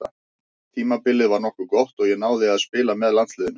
Tímabilið var nokkuð gott og ég náði að spila með landsliðinu.